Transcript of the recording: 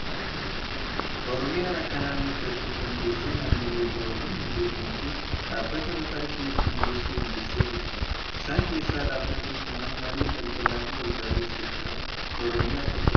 Oromiyaan akka naannootti erga of dandeessee naannolee biroo waliin hundeeffamtee, dhaabbata mataa ishee hedduu hundeessuu dandeessee jirti. Isaan keessaa dhaabbatni Mana Maree Daldalaa fi Waldaaleen Seektara Oromiyaa tokko kan ta'edha.